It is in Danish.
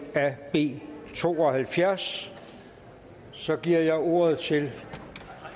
af b to og halvfjerds så giver jeg ordet til